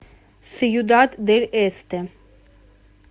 сьюдад дель эсте